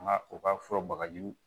Nka u ka fura bagaji